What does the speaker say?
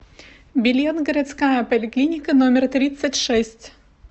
билет городская поликлиника номер тридцать шесть